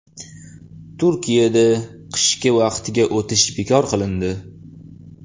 Turkiyada qishki vaqtga o‘tish bekor qilindi.